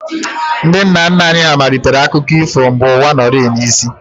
Ndị nna nna anyị hà malitere akụkọ ifo mgbe ụwa nọrịị n'isi